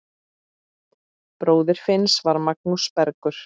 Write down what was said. Bróðir Finns var Magnús Bergur.